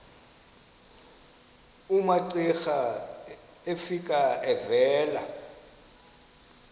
umamcira efika evela